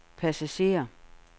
passagerer